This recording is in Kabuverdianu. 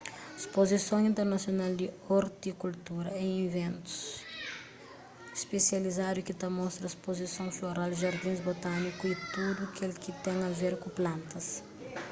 spozison internasional di ortikultura é iventus spesializadu ki ta mostra spozisons floral jardins botániku y tudu kel ki ten a ver ku plantas